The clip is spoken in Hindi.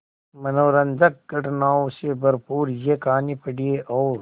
मनोरंजक घटनाओं से भरपूर यह कहानी पढ़िए और